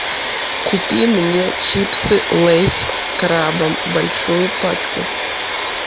купи мне чипсы лейс с крабом большую пачку